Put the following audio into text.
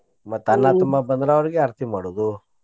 ಮತ್ತ್ ಅಣ್ಣಾ ತಮ್ಮಾ ಬಂದ್ರ ಅವ್ರಿಗೆ ಆರ್ತಿ ಮಾಡೋದು.